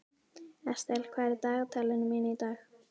Estel, hvað er í dagatalinu mínu í dag?